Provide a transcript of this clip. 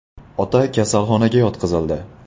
Ota kasalxonaga yotqizildi.